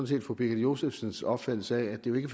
set fru birgitte josefsens opfattelse af at det jo ikke